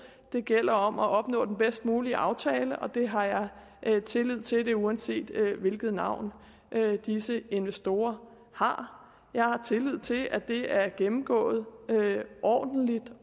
det gælder om at opnå den bedst mulige aftale og det har jeg jeg tillid til uanset hvilket navn disse investorer har jeg har tillid til at det er gennemgået ordentligt